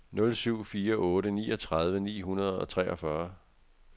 nul syv fire otte niogtredive ni hundrede og treogfyrre